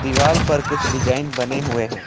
दीवाल पर कुछ डिजाइन बने हुए हैं।